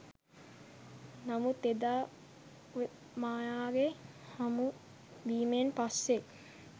නමුත් එදා මායාගේ හමු වීමෙන් පස්සෙ